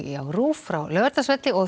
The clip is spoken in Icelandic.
á RÚV frá Laugardalsvelli og